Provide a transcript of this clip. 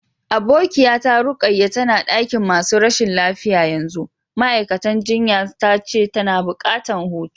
Abokiya ta Rukayya tana dakin masun rashin lafiya yanzu, ma'aikatan jinya ta ce tana buƙatan hutu.